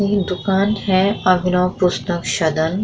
दुकान है अभिनव पुस्तक सदन |